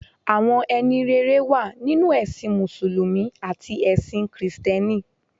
Àwọn ẹni rere wà nínú ẹ̀sìn mùsùlùmí àti ẹ̀sin kìrìsìtẹ́nì.